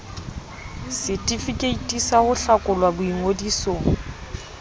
setefikeiti sa ho hlakolwa boingodisong